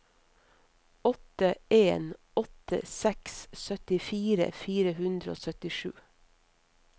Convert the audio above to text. åtte en åtte seks syttifire fire hundre og syttisju